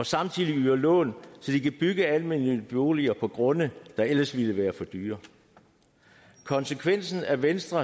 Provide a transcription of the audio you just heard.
samtidig lån så de kan bygge almennyttige boliger på grunde der ellers ville være for dyre konsekvensen af venstre